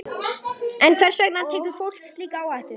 En hvers vegna tekur fólk slíka áhættu?